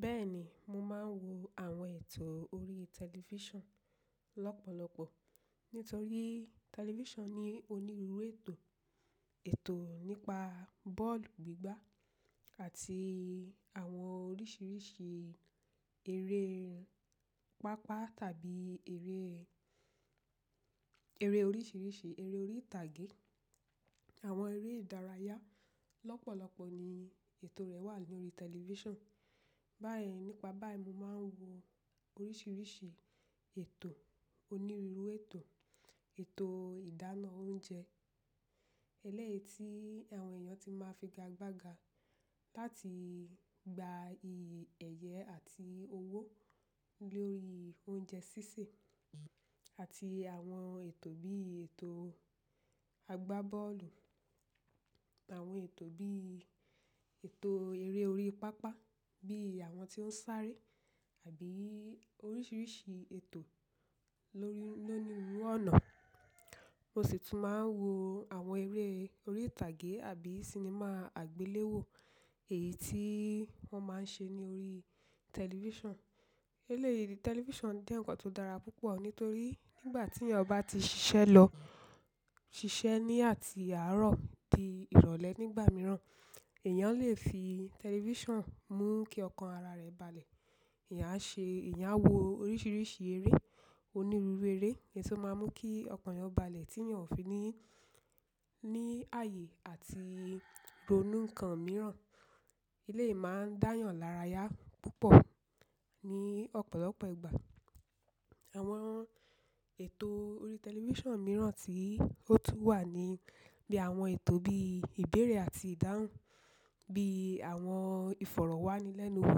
Bẹ́ẹ̀ni, mo máa ń wo àwọn ètò orí tẹlifíṣàn lọ́pọ̀lọpọ̀ nítorí tẹlifíṣàn ní onírúurú ètò. Ètò nípa bọ́ọ̀lù gbígbá àti àwọn oríṣìíríṣìí eré pápá tàbí eré, eré oríṣìíríṣìí, eré orí ìtàgé, àwọn eré ìdárayá lọ́pọ̀lọpọ̀ ni ètò rẹ̀ wà lórí tẹlifíṣàn. Báyìí nípa báyìí mo máa ń wo oríṣìíríṣìí ètò onírúurú ètò. Ètò ìdáná oúnjẹ ẹlẹ́yi tí àwọn èèyàn tí máa ń fi ga gba ga láti gba ẹ̀yẹ àti owó lórí oúnjẹ sísè àti àwọn ètò bí ètò àgbá bọ́ọ̀lù, àwọn ètò bí ètò eré orí pápá bí àwọn tí ó ń sáré àbí oríṣìíríṣìí ètò, lónìrirú ọ̀nà. Mo sì tún máa ń wo àwọn eré orí ìtàgé àbí sinimá àgbéléwò èyí tí wọ́n máa ń ṣe ní orí tẹlifíṣàn. Eléyìí tẹlifíṣàn dẹ́ǹǹkan tó dára púpọ̀ nítorí nígbà tí èèyàn bá ti ṣiṣẹ́ lọ, ṣiṣẹ́ ní àti àárọ̀ di ìrọ̀lẹ́ nígbà mìíràn èèyàn lè fi tẹlifíṣàn mú kí ọkàn ara rẹ̀ balẹ̀. Ẹ̀yàn á ṣe, ẹ̀yàn á wo oríṣìíríṣìí eré onírúurú eré èyí tó máa ń mú kí ọkàn èèyàn balẹ̀ tí èèyàn ò fi ní, ní ààyè àti ronú nǹkan mìíràn. Eléyìí máa ń dáyàn lárayà púpọ̀ ní ọ̀pọ̀lọpọ̀ ìgbà. Àwọn ètò orí tẹlifíṣàn mìíràn tí ó tún wà ni bí àwọn ètò bí ìbéèrè àti ìdáhùn bí àwọn ìfọ̀rọ̀wánilẹ́nuwò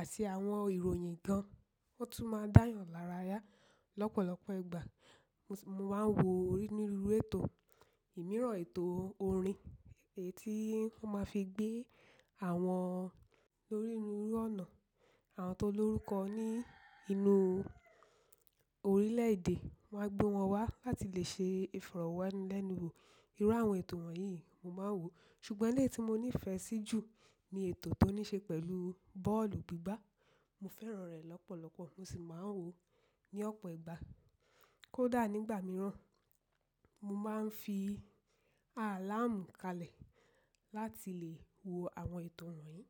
àti àwọn ìròyìn gan ọ́ tún máa ń dáyàn lárayà lọ́pọ̀lọpọ̀ ìgbà. Mo máa ń wo orí onírúurú ètò ìmíràn ètò orin èyí tí wọ́n máa fi gbé àwọn lóníruurú ọ̀nà àwọn tó lórúkọ ní inú orílẹ̀ èdè wọ́n á gbé wọn wá láti lè ṣe ìfọ̀rọ̀wánilẹ́nuwò. Irú àwọn ètò wọ̀nyí mo máa ń wò. Ṣùgbọ́n eléyìí tí mo nífẹ̀ẹ́ sí jù ní ètò tó ní ṣe pẹ̀lú bọ́ọ̀lù gbígbá. Mo fẹ́ràn rẹ̀ lọ́pọ̀lọpọ̀ mo sì máa ń wò ó ní ọ̀pọ̀ ìgbà. Kódà nígbà mìíràn, mo máa ń fi àláàmù kalẹ̀ láti lè wo àwọn ètò wọ̀nyí.